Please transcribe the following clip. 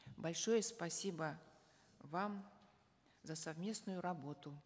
большое спасибо вам за совместную работу